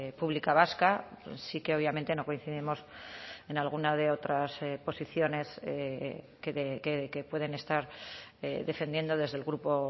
pública vasca sí que obviamente no coincidimos en alguna de otras posiciones que pueden estar defendiendo desde el grupo